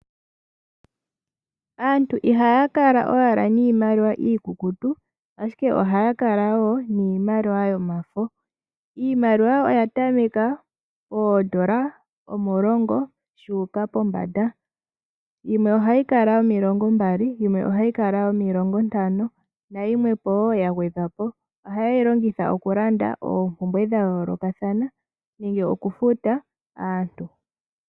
Aantu ihaya kala owala niimaliwa iikukutu ashike ohaya kala wo niimaliwa yomafo. Iimaliwa oya tameka poondola omulongo yuuka pombanda, yimwe ohayi kala yomilongo mbali, yimwe ohayi kala yomilongo ntano nayimwe po ya gwedhwa po. Ohaye yi longitha oku landa oompumbwe dha yoolokathana nenge oku futa aantu.